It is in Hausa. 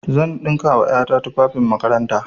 Zan ɗinka wa ƴa ta tufafin makaranta.